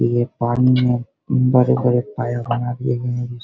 ये पानी में बड़े-बड़े पायें बना दिए गए हैं जिस --